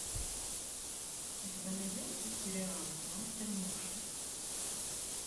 у тебя найдется сериал мастер муши